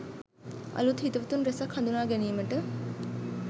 අලුත් හිතවතුන් රැසක් හඳුනා ගැනීමට